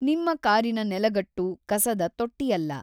ನಿಮ್ಮ ಕಾರಿನ ನೆಲಗಟ್ಟು ಕಸದ ತೊಟ್ಟಿಯಲ್ಲ.